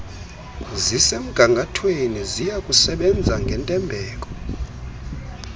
zisemgangathweni siyakusebenza ngentembeko